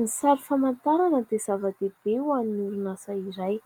Ny sary famantarana dia zava-dehibe ho an'ny orinasa iray,